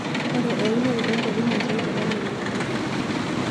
ore eunore toonkuapi naatii olameyu naa kegol